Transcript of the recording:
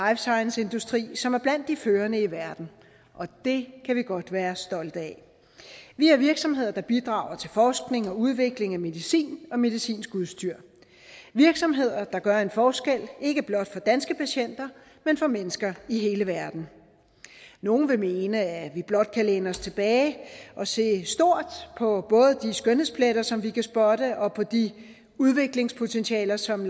science industri som er blandt de førende i verden og det kan vi godt være stolte af vi har virksomheder der bidrager til forskning og udvikling af medicin og medicinsk udstyr virksomheder der gør en forskel ikke blot for danske patienter men for mennesker i hele verden nogle vil mene at vi blot kan læne os tilbage og se stort på både de skønhedspletter som vi kan spotte og på de udviklingspotentialer som